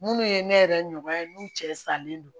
Minnu ye ne yɛrɛ ɲɔya n'u cɛ salen don